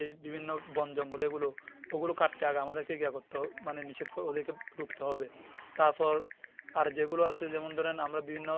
এই বিভিন্ন বন জঙ্গলে এগুলো ওগুলো কাটাতে হবে আমাদের কে গিয়া করতে হবে মানে নিষেধ করতে হবে মানে ওদেরকে রুখতে হবে তারপর আর যেগুলো আছে যেমন ধরেন আমরা বিভিন্ন